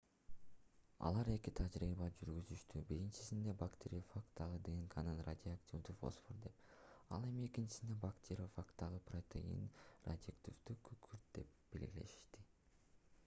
алар эки тажрыйба жүргүзүштү биринчисинде бактериофагдагы днкны радиоактивдүү фосфор деп ал эми экинчисинде бактериофагдын протеинин радиоактивдүү күкүрт деп белгилешти